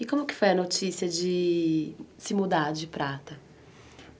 E como que foi a notícia de se mudar de Prata?